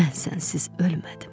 Mən sənsiz ölmədim.